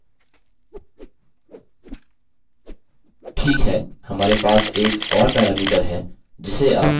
ठीक है हमारे पास एक और पैरामीटर है जिसे आपने इससे पहले नहीं सुना होगा